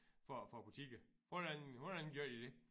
For for butikker hvordan hvordan gør de det?